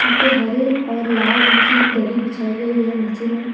यहां पे हरे और लाल रंग की दरी बिछाई गई है नीचे में।